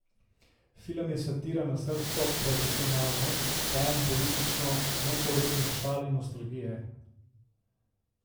Film je satira na srbsko provincialnost, poln politično nekorektnih šal in nostalgije.